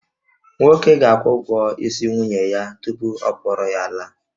Nwoke ga-akwụ ụgwọ isi nwunye ya tupu ọ kpọrọ ya laa